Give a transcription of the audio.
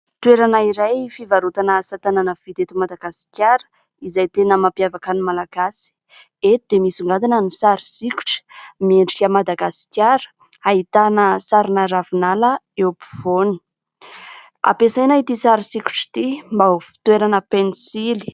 Toerana iray fivarotana asatanana vita eto Madagasikara ; izay tena mampiavaka ny Malagasy. Eto dia misongadina ny sary sokitra miendrika Madagasikara ; ahitana sarina ravinala eo apovoany ; ampiasaina ity sary sokitra ity mba ho fitoerana pensily.